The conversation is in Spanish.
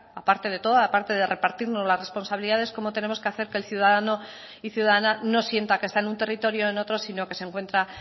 aparte de toda aparte de repartirnos las responsabilidades cómo tenemos que hacer que el ciudadano y ciudadana no sienta que está en un territorio o en otro sino que se encuentra